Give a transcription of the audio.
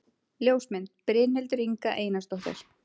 Ljósmynd: Brynhildur Inga Einarsdóttir